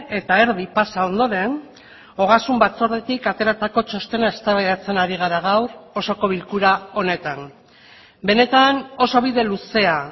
eta erdi pasa ondoren ogasun batzordetik ateratako txostena eztabaidatzen ari gara gaur osoko bilkura honetan benetan oso bide luzea